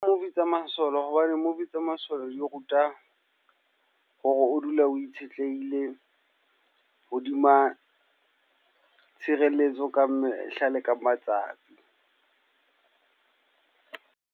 Movie tsa masole. Hobane movie tsa masole di ruta hore o dule o itshetleile hodima tshireletso ka mehla le ka matsatsi.